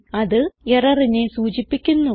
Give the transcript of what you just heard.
അത് എററിനെ സൂചിപ്പിക്കുന്നു